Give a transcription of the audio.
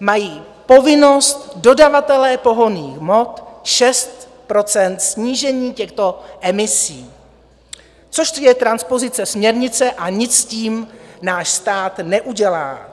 mají povinnost dodavatelé pohonných hmot 6 % snížení těchto emisí, což je transpozice směrnice a nic s tím náš stát neudělá.